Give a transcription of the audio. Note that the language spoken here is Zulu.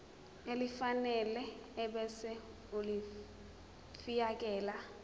elifanele ebese ulifiakela